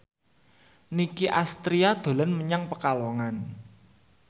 Nicky Astria dolan menyang Pekalongan